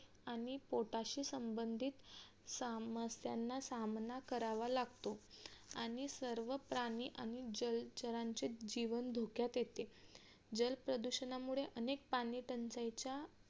आणि पोटाशी संबंधित समस्यांना सामना करावा लागतो आणि सर्व प्राणी आणि जलचरांचे जीवन धोक्यात येते जलप्रदूषणामुळे अनेक पाणी टंचाईच्या